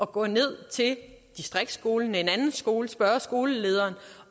gå ned til distriktsskolen en anden skole spørge skolelederen